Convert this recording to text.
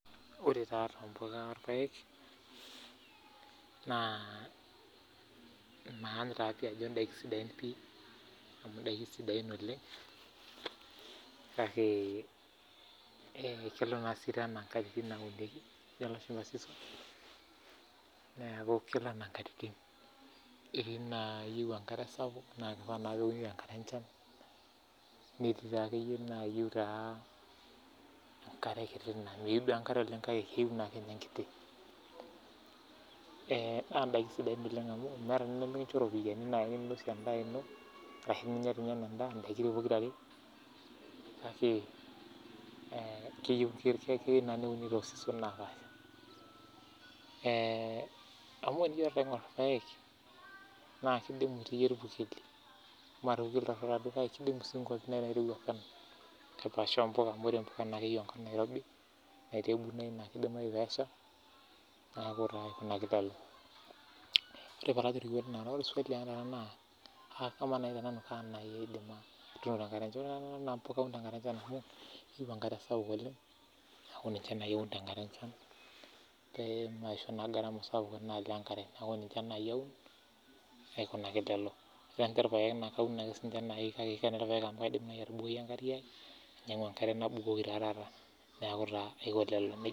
Ore taa irpayek naa maany ajo kisidain amuu indaikin sidain pii kake kelo siininche enaa inkajijik amuu ketii inaayiou enkare sapuk naa keyiou neuni enkata enchan netii naayiou enkare kiti naa indaikin naa kuna sidain oleng amuu enkincho iropiani ninosie endaa ashu inya doi ninye enaa endaa naa keyiou naaji neuni toorishat naapaasha amu tenijo taata aingor irpayek naa kidimu irpurkeli aalang impuka amuu keyiou impuka iwuejitin niirobi naa aikunaki nejia ore naa tenanu naa paun tenkata enchan peemaisho naa gaarama sapuk enkare aikonejia kikash irpayek amu kaidim ainyangu enkare nabukoki naa aiko nejia